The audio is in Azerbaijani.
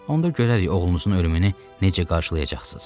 Onda görərik oğlunuzun ölümünü necə qarşılayacaqsız.